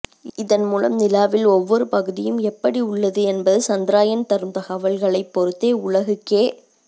இதன் மூலம் நிலாவில் ஒவ்வொரு பகுதியும் எப்படி உள்ளது என்பது சந்திராயன் தரும் தகவல்களைப் பொறுத்தே உலகுக்கே